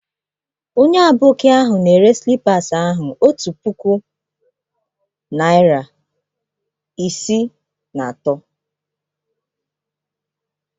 Onye Aboki ahụ na-ere slippas ahụ otu puku naịra isii na iri atọ.